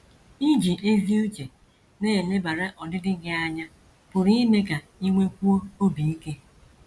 * Iji ezi uche na - elebara ọdịdị gị anya pụrụ ime ka i nwekwuo obi ike.